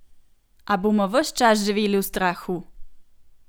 A bomo ves čas živeli v strahu?